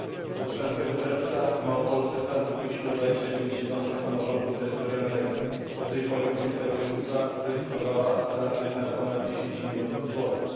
Do 13 czerwca w Małopolsce straty zgłosiło 29 jednostek samorządu terytorialnego, do tej pory komisja wojewódzka zweryfikowała straty na ponad 10 milionów złotych.